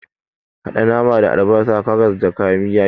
Haɗa naman da albasa, karas, da kayan yaji.